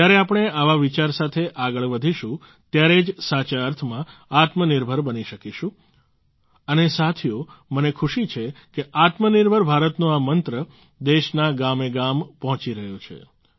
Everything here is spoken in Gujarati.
જ્યારે આપણે આવા વિચાર સાથે આગળ વધીશું ત્યારે જ સાચા અર્થમાં આત્મનિર્ભર બની શકીશું અને સાથીઓ મને ખુશી છે કે આત્મનિર્ભર ભારતનો આ મંત્ર દેશના ગામેગામ પહોંચી રહ્યો છે